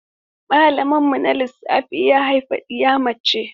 Malaminmu na Lissafi ya haifi ɗiya mace.